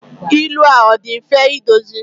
ilu a ọ dị mfe idozi?